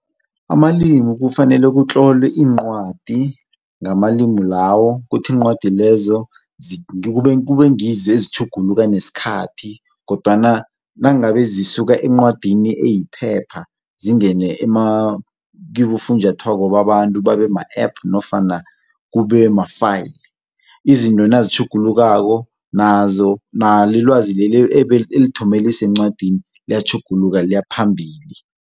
Amalimi kufanele kutlolwe iincwadi ngamalimi lawo ukuthi iincwadi lezo kube ngizo ezitjhuguluka nesikhathi kodwana nangabe zisuka encwadini eyiphepha zingene kibofunjathwako babantu babe ma-app nofana kube ma-file, izinto nazitjhugulukako nalo ilwazeli elithome lisencwadini liyatjhuguluka liyaphambili.